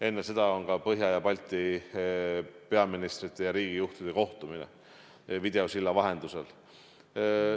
Enne seda on ka Põhjala ja Balti peaministrite ja riigijuhtide kohtumine videosilla vahendusel.